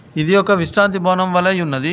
ఇది ఒక విశ్రాంతి భవనం వలేయున్నది.